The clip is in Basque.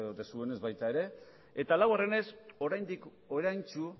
duzuenez baita ere eta laugarrenez oraindik oraintsu